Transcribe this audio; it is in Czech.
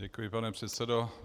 Děkuji, pane předsedo.